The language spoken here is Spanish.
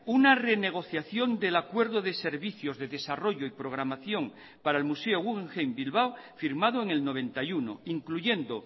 una renegociación del acuerdo de servicios de desarrollo y programación para el museo guggenheim bilbao firmado en el noventa y uno incluyendo